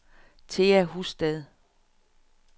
Thea Husted